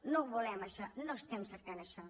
no ho volem això no estem cercant això